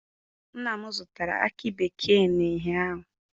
Nna m zụtara akị bekee ụnyaahụ.